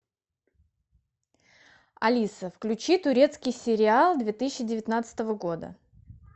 алиса включи турецкий сериал две тысячи девятнадцатого года